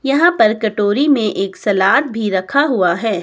यहां पर कटोरी में एक सलाद भी रखा हुआ है।